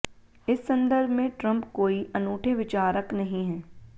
इस संदर्भ में ट्रंप कोई अनूठे विचारक नहीं हैं